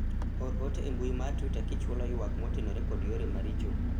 or ote e mbui mar twita kichwalo ywak motenore kod yore maricho